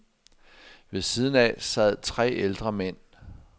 Ved siden af sad tre ældre mænd.